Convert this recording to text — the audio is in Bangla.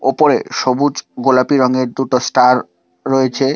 ওপরে সবুজ গোলাপি রঙের দুটো স্টার রয়েছে।